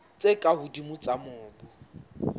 tse ka hodimo tsa mobu